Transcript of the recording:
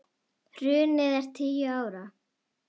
Hrunið er tíu ára.